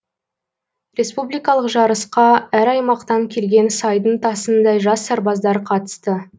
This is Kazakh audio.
республикалық жарысқа әр аймақтан келген сайдың тасындай жас сарбаздар қатысты